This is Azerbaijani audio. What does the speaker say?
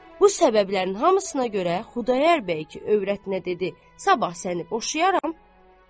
Bu səbəblərin hamısına görə Xudayar bəy övrətinə dedi: Sabah səni boşayaram.